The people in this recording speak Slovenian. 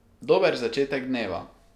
Dober začetek dneva!